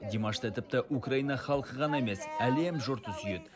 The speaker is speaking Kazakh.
димашты тіпті украина халқы ғана емес әлем жұрты сүйеді